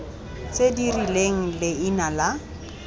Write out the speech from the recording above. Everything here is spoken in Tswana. tse di rileng leina la